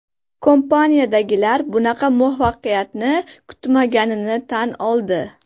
Kompaniyadagilar bunaqa muvaffaqiyatni kutmaganini tan oldi.